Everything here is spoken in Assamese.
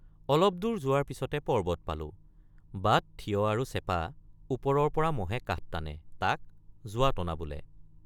অলপদূৰ যোৱাৰ পিচতে পৰ্বত পালে৷ বাট থিয় আৰু চেপা, ওপৰৰ পৰা মহে কাঠ টানে, তাক জুৱা টন৷ বোলে।